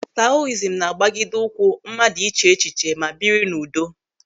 Taoism na-agbagide ụkwụ mmadụ ịche echiche ma biri n'udo.